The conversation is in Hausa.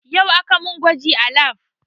Yau aka mun gwaji a lab